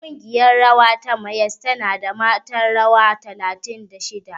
Ƙungiyar rawa ta Mayyas tana da mata ƴan rawa talatin da shida.